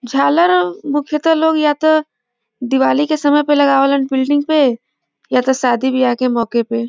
झालर मुख्यतः लोग या त दिवाली के समय पे लगावे लन बिल्डिंग पे या शादी विवाह के मौके पे ।